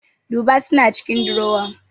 Duba suna cikin durowa